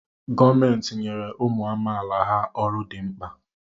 Gọọmentị nyere ụmụ amaala ha ọrụ dị mkpa.